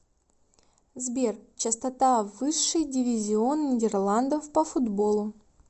сбер частота высший дивизион нидерландов по футболу